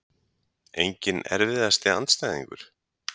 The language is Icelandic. enginn Erfiðasti andstæðingur?